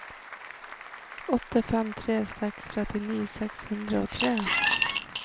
åtte fem tre seks trettini seks hundre og tre